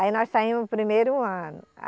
Aí nós saímos o primeiro ano.